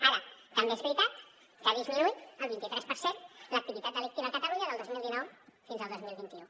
ara també és veritat que ha disminuït al vint i tres per cent l’activitat delictiva a catalunya del dos mil dinou fins al dos mil vint u